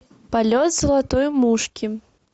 полет золотой мушки